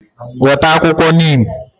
Weta akwukwo neem!